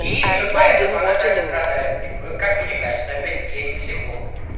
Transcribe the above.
именно поэтому она так страдает и как мне кажется опять-таки я не психолог